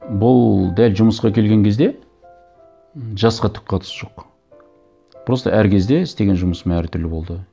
бұл дәл жұмысқа келген кезде м жасқа түк қатысы жоқ просто әр кезде істеген жұмысым әртүрлі болды